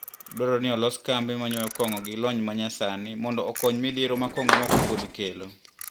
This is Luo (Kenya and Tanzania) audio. Dwarore ni olos kambe manyowo kong`o gilony manyasani mondo okony midhiero makong`o mokopuodhi kelo.